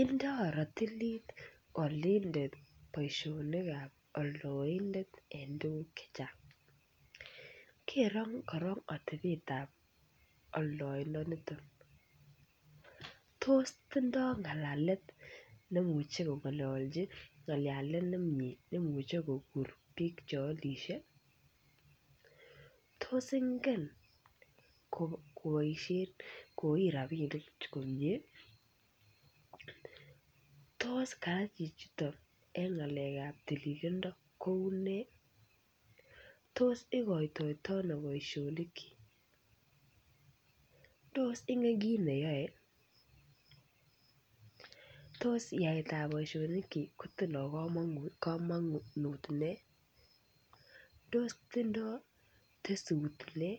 Indoi rotilit olindet boisietab oldoindet eng tuguk chechang. Kerei korok atebetab oldoindonitok. Tos tindoi ng'alalet nemuchi kong'ololji ng'alalet nemie nemuchi kukur biik cheolisie? Tos ingen koiit rabiinik komie? Tos kaa chichiton koune eng ng'alekab tililindo? Tos ikoitoito ano boisionikyi? Tos ingen kiit neyaae? Tos yaetab boisionikyi kotinye komonut nee? Tos tindoi tesut nee